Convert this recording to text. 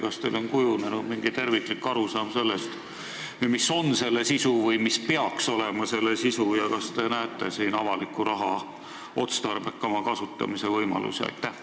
Kas teil on kujunenud mingi terviklik arusaam sellest, mis on või mis peaks olema selle sisu, ja kas te näete siin avaliku raha otstarbekama kasutamise võimalusi?